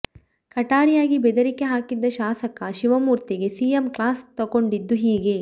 ಕಟಾರಿಯಾಗೆ ಬೆದರಿಕೆ ಹಾಕಿದ್ದ ಶಾಸಕ ಶಿವಮೂರ್ತಿಗೆ ಸಿಎಂ ಕ್ಲಾಸ್ ತೆಗೊಂಡಿದ್ದು ಹೀಗೆ